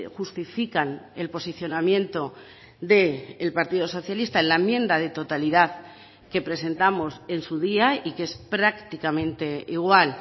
justifican el posicionamiento del partido socialista en la enmienda de totalidad que presentamos en su día y que es prácticamente igual